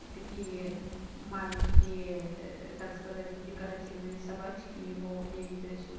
такие маленькие так сказать декоративные собачки его не интересуют